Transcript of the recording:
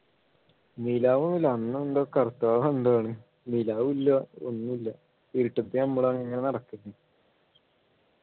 നിലാവ് ഒന്നുമില്ല അന്ന് എന്തോ കറുത്ത വാവ് ന്തോ ആണ് നിലാവില്ല ഒന്നുമില്ല ഇരുട്ടത്ത് നമ്മൾ അങ്ങനെ നടക്കുന്നൂ